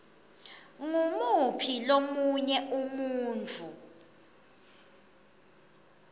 ngumuphi lomunye umuntfu